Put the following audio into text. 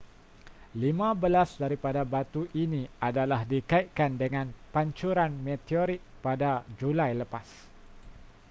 lima belas daripada batu ini adalah dikaitkan dengan pancuran meteorit pada julai lepas